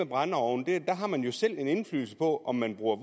brændeovne har man jo selv en indflydelse på om man bruger